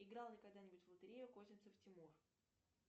играл ли когда нибудь в лотерею козинцев тимур